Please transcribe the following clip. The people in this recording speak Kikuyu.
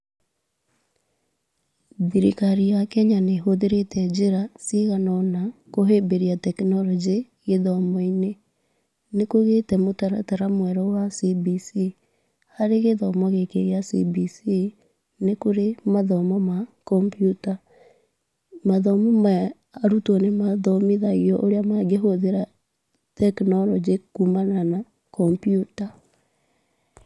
Thirikari ya Kenya nĩ ĩhũthĩrĩte njĩra cigana ona kũhĩmbĩria tekinoronjĩ gĩthomo-inĩ. Nĩ kũgĩte mũtaratara mwerũ wa CBC. Harĩ gĩthomo gĩkĩ gĩa CBC, nĩ kũrĩ mathomo ma Computer. Mathomo maya arutwo nĩ mathomithagio ũrĩa mangĩhũthĩra tekinoronjĩ kumana na computer.